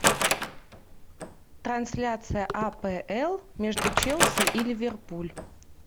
трансляция апл между челси и ливерпуль